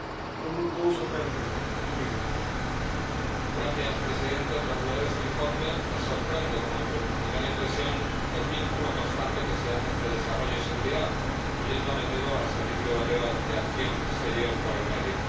Señor Presidente, tras leer este informe me sorprende, como primera impresión, el vínculo constante que se hace entre desarrollo y seguridad, incluyendo a menudo al Servicio Europeo de Acción Exterior por el medio.